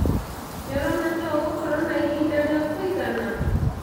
Nĩũrona ta ũgakorwo na ĩhĩda rĩa kũĩgana?